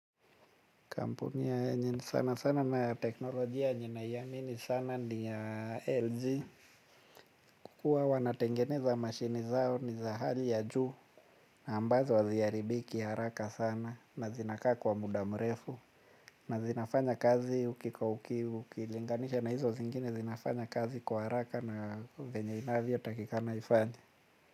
Kampuni yenye sana sana na teknolojia yenye naiamini sana ni ya LG. Kwa kuwa wanatengeneza mashini zao ni za hali ya juu. Ambazo haziaribiki haraka sana na zinakaa kwa muda mrefu. Na zinafanya kazi ukilinganisha na hizo zingine zinafanya kazi kwa haraka na venye inavyotakikana ifanye.